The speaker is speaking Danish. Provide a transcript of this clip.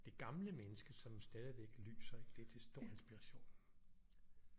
Det gamle menneske som stadigvæk lyser det er til stor inspiration